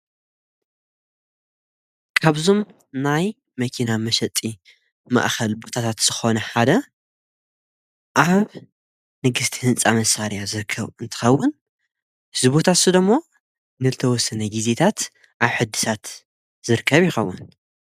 ካብዞም ናይ መኪና መሰጢ ማእኸል ቡታታት ዝኾነ ሓደ ኣብ ንግሥቲ ሕንፃ መሣርያ ዝርከብ እንተኸውን ዝቡታትስዶሞ ንልተ ወስነ ጊዜታት ኣይሕድሳት ዝርከብ ይኸቡን።